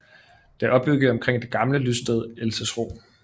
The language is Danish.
Det er opbygget omkring det gamle lyststed Elsesro